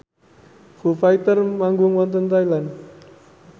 Foo Fighter manggung wonten Thailand